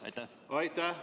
Aitäh!